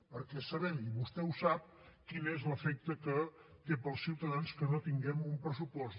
perquè sabem i vostè ho sap quin és l’efecte que té per als ciutadans que no tinguem un pressupost